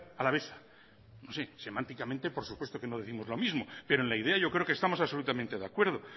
alavesa no sé semánticamente por supuesto que no décimos lo mismo pero en la idea yo creo que estamos absolutamente de acuerdo